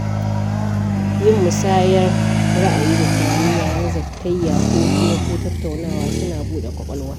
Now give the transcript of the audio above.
Yin musayar ra'ayi da tunani yayin zatayya ko hira ko tattaunawa suna buɗe ƙwaƙwalwa.